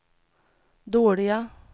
dåliga